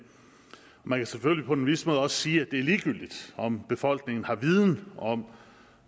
man kan selvfølgelig på en vis måde også sige at det er ligegyldigt om befolkningen har viden om